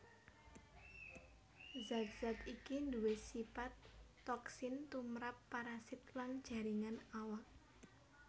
Zat zat iki nduwé sipat toksin tumrap parasit lan jaringan awak